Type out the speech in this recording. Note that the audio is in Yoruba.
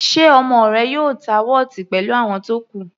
Ṣe ọmọ rẹ yóò ta wọ́ọ̀tì pẹ̀lú àwọn tó kù?